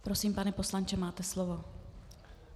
Prosím, pane poslanče, máte slovo.